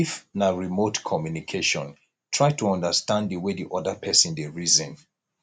if na remote communication try to understand di wey di oda person dey reason